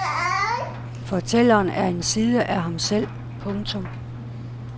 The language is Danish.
Fortælleren er en side af ham selv. punktum